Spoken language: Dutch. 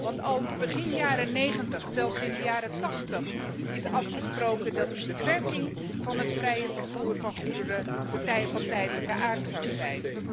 Want al begin jaren negentig, zelfs in de jaren tachtig, is afgesproken dat die beperking van het vrije vervoer van goederen van tijdelijke aard zou zijn.